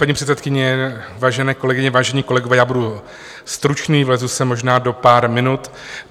Paní předsedkyně, vážené kolegyně, vážení kolegové, já budu stručný, vlezu se možná do pár minut.